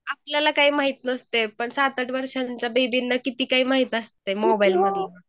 आपल्यला काय माहित नसते पण सात आठ वर्षांच्या बेबीला किती काय माहित असते मोबाईल मधलं